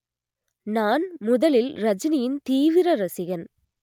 நான் முதலில் ரஜினியின் தீவிர ரசிகன்